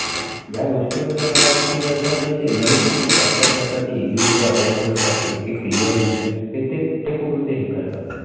या गोष्टीवर जर मला वाटते की जर का जे ते images मग ते capture करतात ते easily जे available असतात ते इतके clearimages ते ते कुठून ते हे करतात